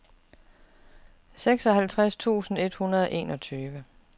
seksoghalvtreds tusind et hundrede og enogtyve